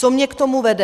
Co mě k tomu vede.